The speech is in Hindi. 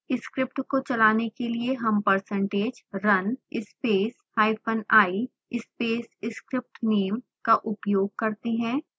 स्क्रिप्ट को चलाने के लिए हम percentage run space hyphen i space scriptname का उपयोग करते हैं